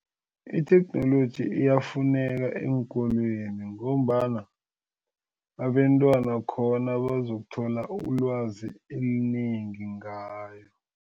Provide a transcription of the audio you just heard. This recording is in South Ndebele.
Itheknoloji iyafuneka eenkolweni ngombana abentwana khona bazokuthola ulwazi elinengi ngayo.